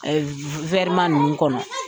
ma ninnu kɔnɔ.